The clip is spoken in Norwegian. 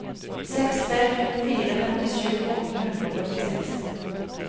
seks tre to fire femtisju åtte hundre og førtiseks